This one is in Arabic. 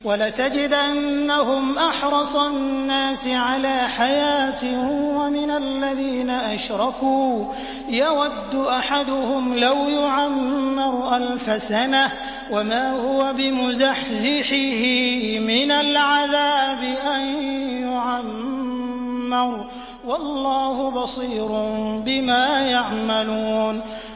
وَلَتَجِدَنَّهُمْ أَحْرَصَ النَّاسِ عَلَىٰ حَيَاةٍ وَمِنَ الَّذِينَ أَشْرَكُوا ۚ يَوَدُّ أَحَدُهُمْ لَوْ يُعَمَّرُ أَلْفَ سَنَةٍ وَمَا هُوَ بِمُزَحْزِحِهِ مِنَ الْعَذَابِ أَن يُعَمَّرَ ۗ وَاللَّهُ بَصِيرٌ بِمَا يَعْمَلُونَ